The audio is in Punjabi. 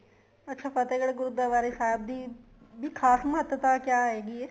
ਅੱਛਾ ਫਤਿਹਗੜ੍ਹ ਗੁਰੂਦਆਰੇ ਸਾਹਿਬ ਦੀ ਵੀ ਖ਼ਾਸ ਮਹੱਤਤਾ ਕਿਆ ਹੈਗੀ ਏ